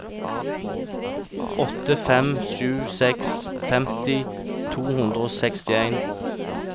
åtte fem sju seks femti to hundre og sekstien